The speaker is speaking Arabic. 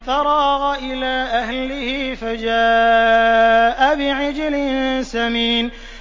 فَرَاغَ إِلَىٰ أَهْلِهِ فَجَاءَ بِعِجْلٍ سَمِينٍ